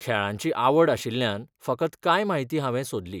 खेळांची आवड आशिल्ल्यान फकत कांय म्हायती हांवे सोदली.